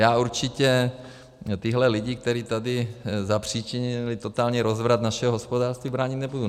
Já určitě tyhle lidi, kteří tady zapříčinili totální rozvrat našeho hospodářství, bránit nebudu.